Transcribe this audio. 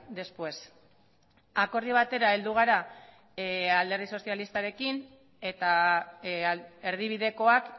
después akordio batera heldu gara alderdi sozialistarekin eta erdibidekoak